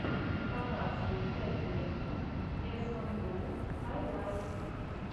показывай кэтдэни эсмонголд хайлайтс